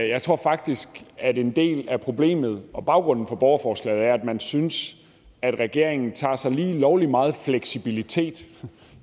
jeg tror faktisk at en del af problemet og baggrunden for borgerforslaget er at man synes at regeringen tager sig lige lovlig meget fleksibilitet